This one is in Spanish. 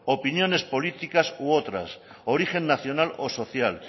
opiniones políticas y otras origen nacional o social